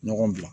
Ɲɔgɔn bila